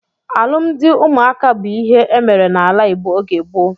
Alụmdi ụmụaka bụ ịhe emere n'ala Igbo oge gboo.